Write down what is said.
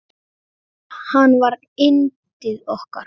Hann var yndið okkar.